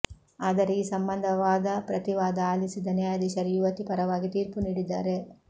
ಆದರೆ ಈ ಸಂಬಂಧ ವಾದ ಪ್ರತಿವಾದ ಆಲಿಸಿದ ನ್ಯಾಯಾಧೀಶರು ಯುವತಿ ಪರವಾಗಿ ತೀರ್ಪು ನೀಡಿದ್ದಾರೆ